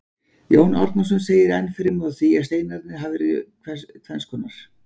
Jón Árnason segir enn fremur frá því að steinarnir hafi verið tvenns konar.